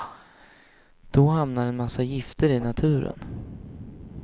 Då hamnar en massa gifter i naturen.